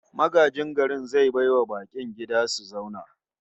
Magajin garin zai bai wa bakin gida su zauna